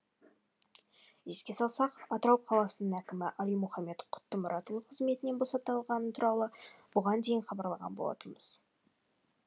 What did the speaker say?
еске салсақ атырау қаласының әкімі алимұхаммед құттұмұратұлы қызметінен босатылғаны туралы бұған дейін хабарлаған болатынбыз